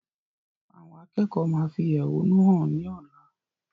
Àwọn akẹ́kọ̀ọ́ máa fi ẹhónú hàn ni ọ̀la.